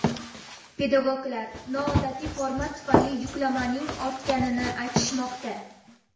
Pedagoglar noodatiy format tufayli yuklamaning ortganini aytishmoqda.